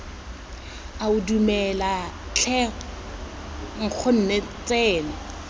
ao dumela tlhe nkgonne tsena